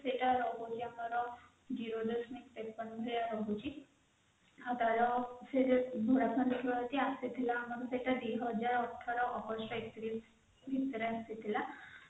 ସେଇଟା ଟାରେ Jio ର ରହୁଛି ଆପଣ ଦେଖିବେ ଯଦି ଆସିଥିବା ଆମର ଯଦି ଯୌଟା ଦୁଇ ହଜାର ଅଠର ମସିହା ଭିତରେ ଆସିଥିଲା